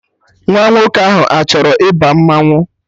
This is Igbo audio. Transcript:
Nwa nwoke ahụ achọrọ ịba mmanwụ